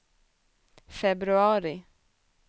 februari